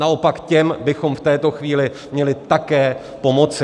Naopak těm bychom v této chvíli měli také pomoci.